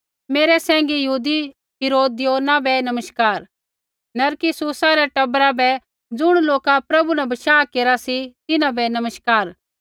मेरै सैंघी यहूदी हिरोदियोना बै नमस्कार नरकिस्सुसा रै टबरा बै ज़ुण लोका प्रभु न बशाह केरा सी तिन्हां बै नमस्कार